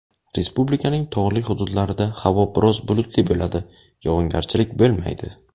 Respublikaning tog‘li hududlarida havo biroz bulutli bo‘ladi, yog‘ingarchilik bo‘lmaydi.